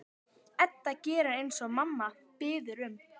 Róbert: Gera íbúarnir þarna greinarmun á hermönnum og friðargæsluliðum?